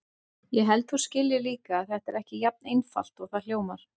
Ég held að þú skiljir líka að þetta er ekki jafn einfalt og það hljómar.